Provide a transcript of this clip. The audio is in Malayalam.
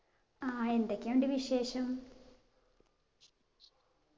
ആ എന്തൊക്കെയുണ്ട് വിശേഷം